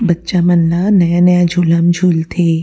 बच्चा मन ह नया-नया झूला म झुलथे।